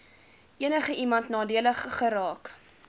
enigiemand nadelig geraak